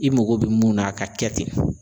I mago bɛ mun na a ka kɛ ten.